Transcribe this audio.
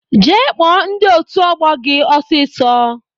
Jee kpọọ ndị otu ọgbọ gị ọsisọ!